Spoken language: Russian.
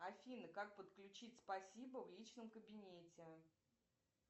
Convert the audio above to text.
афина как подключить спасибо в личном кабинете